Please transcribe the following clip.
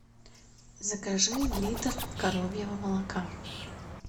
закажи литр коровьего молока